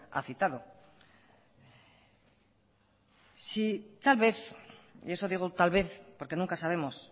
ha citado si tal vez y eso digo tal vez porque nunca sabemos